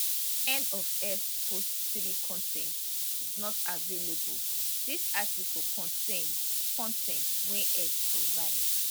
end of x post 3 con ten t is not available dis article contain con ten t wey x provide